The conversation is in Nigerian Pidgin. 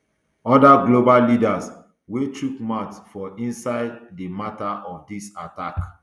oda global leaders wey chook mouth for inside di mata of dis attack